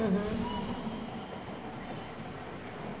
Uhum.